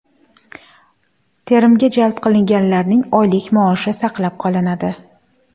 Terimga jalb qilinganlarning oylik maoshi saqlab qolinadi.